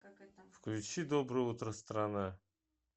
включи доброе утро страна